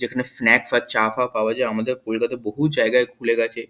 এখানে স্নাক্স আর চা ফা পাওয়া যায়। আমাদের কলকাতার বহু জায়গায় খুলে গেছে।